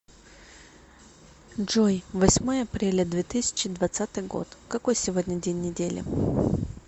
джой восьмое апреля две тысячи двадцатый год какой сегодня день недели